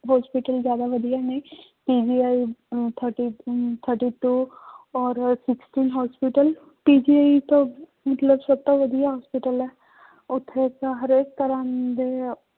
Hospital ਜ਼ਿਆਦਾ ਵਧੀਆ ਨੇ uh thirty um thirty two ਔਰ sixty hospital PGI ਤਾਂ ਮਤਲਬ ਸਭ ਤੋਂ ਵਧੀਆ hospital ਹੈ ਉੱਥੇ ਤਾਂ ਹਰੇਕ ਤਰ੍ਹਾਂ ਦੇ